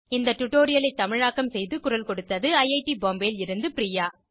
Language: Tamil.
இந்த டுடோரியலை தமிழாக்கம் செய்து குரல் கொடுத்தது ஐஐடி பாம்பேவில் இருந்து பிரியா